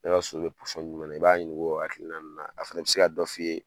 E ka so bɛ na i b'a ɲininka o hakilina in na a fana bi se ka dɔ f'i ye.